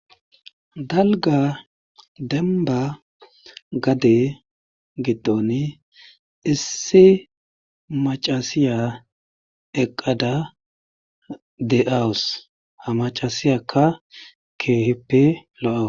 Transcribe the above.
dalga demba gade gidoni issi macasiya eqqada de7awus ha macasiyakka keehippe lo'a.